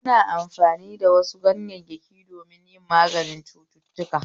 Ana amfani da wasu ganyayyaki don yi maganin cututtuka